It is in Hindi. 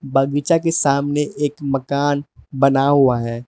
बगीचा के सामने एक मकान बना हुआ है।